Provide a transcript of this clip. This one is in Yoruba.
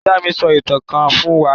Ìyá mi sọ ìtàn kan fún wa.